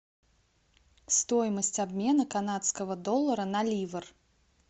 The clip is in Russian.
стоимость обмена канадского доллара на ливр